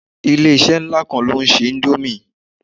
Ilé-isẹ́ nlá kan lóún se indomie